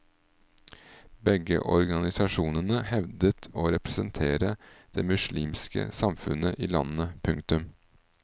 Begge organisasjonene hevdet å representere det muslimske samfunnet i landet. punktum